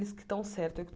Eles que estão certos eu que